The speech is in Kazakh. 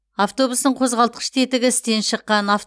автобустың қозғалтқыш тетігі істен шыққан